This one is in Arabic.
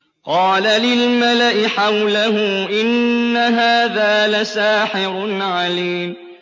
قَالَ لِلْمَلَإِ حَوْلَهُ إِنَّ هَٰذَا لَسَاحِرٌ عَلِيمٌ